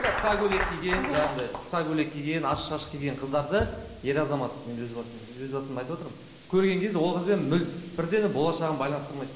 қысқа көйлек киген жаңағындай қысқа көйлек киген ашық шашық киген қыздарды ер азамат енді өз басым өз басымды айтып отырмын көрген кезде ол қызбен бірден болашағын байланыстырмайды